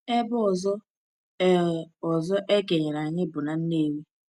Ebe ọzọ e ọzọ e kenyere anyị bụ na Nnewi.